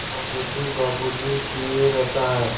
बाबू जी बाबू जी किए रहता है